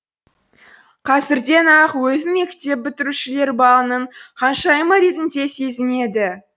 қазірден ақ өзін мектеп бітірушілер балының ханшайымы ретінде сезінеді